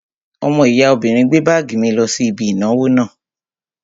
Ọmọ ìyá obìnrin gbé báàgì mi lọ sí ibi ìnáwó náà